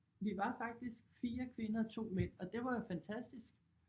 Vi var faktisk 4 kvinder 2 mænd og det var jo fantastisk